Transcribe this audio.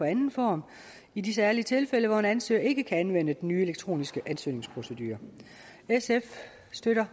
anden form i de særlige tilfælde hvor en ansøger ikke kan anvende den nye elektroniske ansøgningsprocedure sf støtter